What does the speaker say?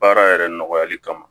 Baara yɛrɛ nɔgɔyali kama